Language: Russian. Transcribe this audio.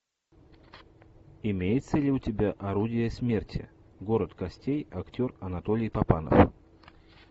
имеется ли у тебя орудия смерти город костей актер анатолий папанов